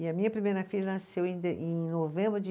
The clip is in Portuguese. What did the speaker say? E a minha primeira filha nasceu em de, em novembro de